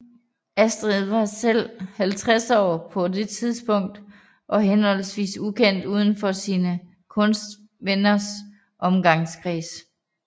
Astrid var selv 50 år på det tidspunkt og forholdsvis ukendt udenfor sine kunstnervenners omgangskreds